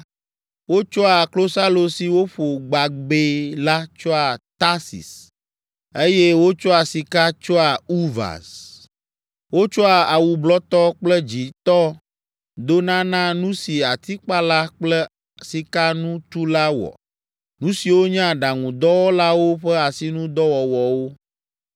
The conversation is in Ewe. Wotsɔa klosalo si woƒo gbabɛ la tsoa Tarsis eye wotsɔa sika tsoa Ufaz. Wotsɔa awu blɔtɔ kple dzĩtɔ dona na nu si atikpala kple sikanutula wɔ, nu siwo nye aɖaŋudɔwɔlawo ƒe asinudɔwɔwɔwo.